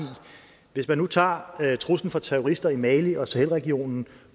hvis man nu tager truslen fra terrorister i mali og sahel regionen